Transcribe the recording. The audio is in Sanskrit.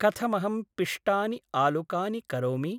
कथमहं पिष्टानि आलुकानि करोमि?